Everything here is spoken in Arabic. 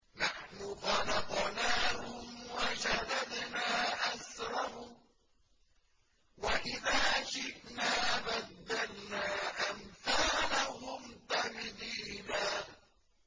نَّحْنُ خَلَقْنَاهُمْ وَشَدَدْنَا أَسْرَهُمْ ۖ وَإِذَا شِئْنَا بَدَّلْنَا أَمْثَالَهُمْ تَبْدِيلًا